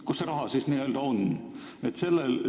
Kus see raha siis on?